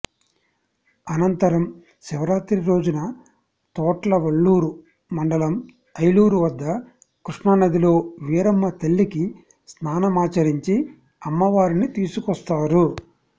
అనంతరం శివరాత్రి రోజున తోట్లవల్లూరు మండలం ఐలూరు వద్ద కృష్ణా నదిలో వీరమ్మతల్లికి స్నానమాచరించి అమ్మవారిని తీసుకొస్తారు